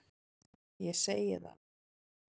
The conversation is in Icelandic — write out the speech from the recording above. Ég segi það.